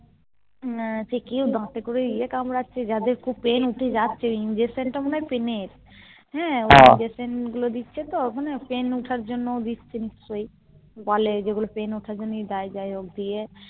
হম সে কেউ দাঁত এ করে ইয়ে কামড়াচ্ছে যাদের খুব Pain হচ্ছে যাচ্ছে ওই Injection টা মনে হয় Pain এর হ্যাঁ ওই Injection গুলো দিচ্ছে তো ওখানে Pain উঠার জন্য দিচ্ছে নিশ্চই বলে যেগুলো Pain উঠার জন্যই দেয় যাইহোক দিয়ে